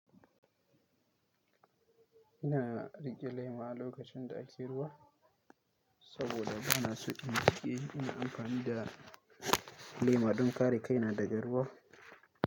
Ina riƙe lema a lokacin da ake ruwa saboda ba na son in jiƙe. Ina amfani da lema don kare kaina daga ruwa.